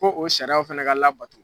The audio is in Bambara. Ko o sariyaw fɛnɛ ka labato